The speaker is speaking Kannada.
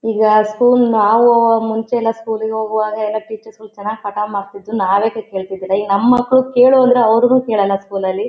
ಈಗ ಸ್ಕೂಲ್ ನಾವ್ ಮುಂಚೆ ಎಲ್ಲಾ ಸ್ಕೂಲಿಗೆ ಹೋಗುವಾಗ ಎಲ್ಲಾ ಟೀಚರ್ಗಳು ಚೆನ್ನಾಗಿ ಪಾಠ ಮಾಡತಿದ್ರು ನಾವೇ ಕೂತ್ ಕೇಳತಿರಲಿಲ್ಲಾ ಈಗ ನಮ್ಮ್ ಮಕ್ಕ್ಳು ಕೇಳು ಅಂದ್ರೆ ಅವರು ಕೇಳಲ್ಲಾ ಸ್ಕೂಲ್ ಲಲ್ಲಿ .